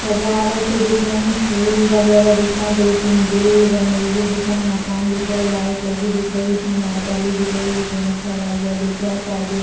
सजावटे दिख रही है फूल वगैरा दिख रहे है दो-तीन दिल बने हुए दिख रहे मकान दिख रहे लाइट लगी दिख रही उसमे मरकरी दिख रही एक जेंट्स खड़ा हुआ दिख रहा पर्दे --